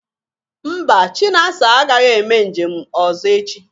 Mba, Chinasa agaghị eme njem ọzọ echi